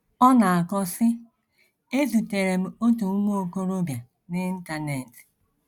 Ọ na - akọ, sị: “ Ezutere m otu nwa okorobịa n’Internet.